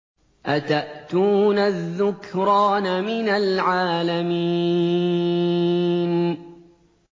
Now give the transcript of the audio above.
أَتَأْتُونَ الذُّكْرَانَ مِنَ الْعَالَمِينَ